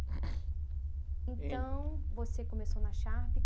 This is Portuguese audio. Então, você começou na Sharp.